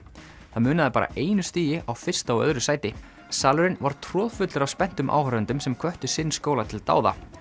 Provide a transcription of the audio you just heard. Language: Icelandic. það munaði bara einu stigi á fyrsta og öðru sæti salurinn var troðfullur af spenntum áhorfendum sem hvöttu sinn skóla til dáða